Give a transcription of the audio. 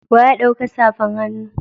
Wa ya dauka safan hannu.